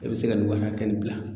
E be se ka nin wari ka hakɛ nin bila